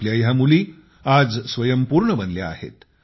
आपल्या ह्या मुली आज स्वयंपूर्ण बनल्या आहेत